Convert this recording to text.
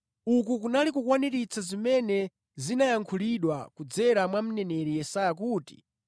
Uku kunali kukwaniritsa zimene zinayankhulidwa kudzera mwa mneneri Yesaya kuti,